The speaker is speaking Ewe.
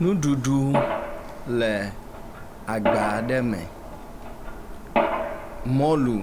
Nuɖuɖu le agba aɖe me, mɔlu,